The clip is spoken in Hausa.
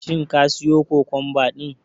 Shin ka siyo kokomba din?